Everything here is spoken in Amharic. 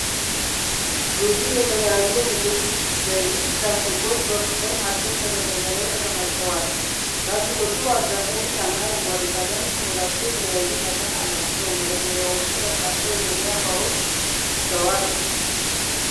ብዙ የተለያዩ የምግብ ዘይት ላስቲኮች በሱፐር ማርኬት መደርደሪያ ላይ ተከማችተዋል፡፡ ላሥቲኮቹ በአብዛኛው ቢጫና አረንጓዴ ቀለም ሲኖራቸው የተለያዩ መጠን አላቸው፡፡ መደርደሪያዎቹ በርካታ የገበያ እቃዎች ይዘዋል፡፡